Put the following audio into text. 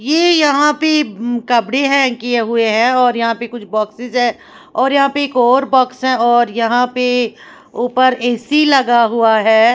ये यहां पे कपड़े है किए हुए हैं और यहां पर कुछ बॉक्स है और यहां पे एक और बॉक्स है और यहां पे ऊपर ए_सी लगा हुआ है।